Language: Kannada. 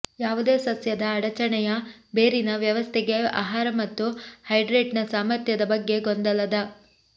ಯಾವುದೇ ಸಸ್ಯದ ಅಡಚಣೆಯ ಬೇರಿನ ವ್ಯವಸ್ಥೆಗೆ ಆಹಾರ ಮತ್ತು ಹೈಡ್ರೇಟ್ನ ಸಾಮರ್ಥ್ಯದ ಬಗ್ಗೆ ಗೊಂದಲದ